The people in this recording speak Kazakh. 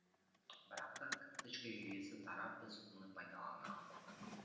бірақ та карточка жүйесі тарап біз оны пайдалана алмадық